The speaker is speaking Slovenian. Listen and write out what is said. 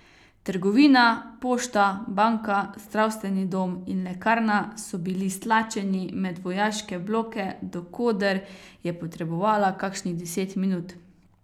Trgovina, pošta, banka, zdravstveni dom in lekarna so bili stlačeni med vojaške bloke, do koder je potrebovala kakšnih deset minut.